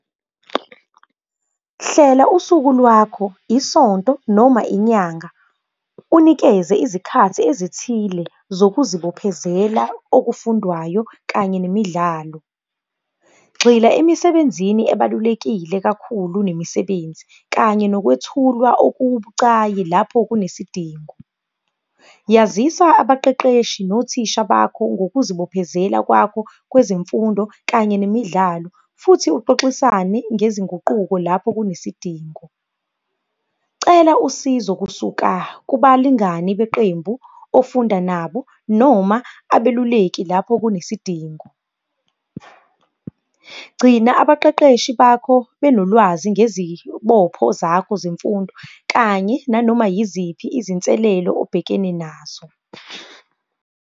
Hlela usuku lwakho isonto noma inyanga, unikeze izikhathi ezithile zokuzibophezela okufundwayo kanye nemidlalo. Gxila emisebenzini ebalulekile kakhulu nemisebenzi, kanye nokwethulwa okubucayi lapho kunesidingo. Yazisa abaqeqeshi nothisha bakho ngokuzibophezela kwakho kwezemfundo kanye nemidlalo, futhi uxoxisane ngezinguquko lapho kunesidingo. Cela usizo kusuka kubalingani beqembu ofunda nabo noma abeluleki lapho kunesidingo. Gcina abaqeqeshi bakho benolwazi ngezibopho zakho zemfundo kanye nanoma yiziphi izinselelo obhekene nazo.